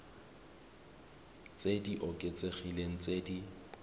tse di oketsegileng tse di